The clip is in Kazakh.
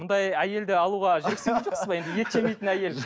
мұндай әйелді алуға ет жемейтін әйел